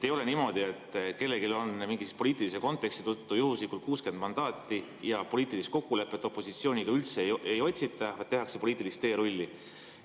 Ei ole niimoodi, et kellelgi on mingi poliitilise konteksti tõttu juhuslikult 60 mandaati ja poliitilist kokkulepet opositsiooniga üldse ei otsita, vaid tehakse poliitilist teerulli.